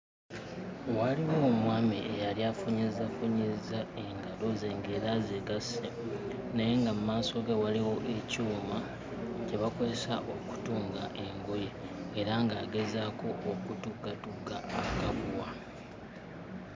Waaliwo omwami eyali afunyizzafunyizza engalo ze ng'era azigasse naye nga mu maaso ge waliwo ekyuma kye bakozesa okutunga engoye era ng'agezaako okutuggatugga akaguwa.